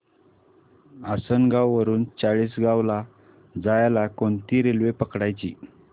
आसनगाव वरून चाळीसगाव ला जायला कोणती रेल्वे पकडायची